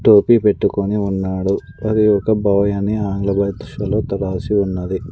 టోపీ పెట్టుకుని ఉన్నాడు మరియు ఒక బాయ్ అని ఆంగ్ల భాషలో రాసి ఉన్నాది.